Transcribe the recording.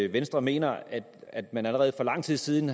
venstre mener at man allerede for lang tid siden